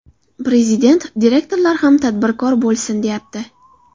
Prezident direktorlar ham tadbirkor bo‘lsin, deyapti.